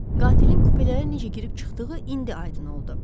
Qatilin kupələrə necə girib çıxdığı indi aydın oldu.